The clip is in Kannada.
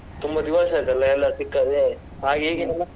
ತುಂಬಾ ದಿವಸ ಆಯ್ತಲ್ಲ ಎಲ್ಲ ಸಿಕ್ಕದೆ .